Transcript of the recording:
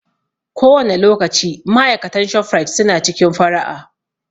Kowane lokaci ma'aikatan ShofRite su na cikin fara'a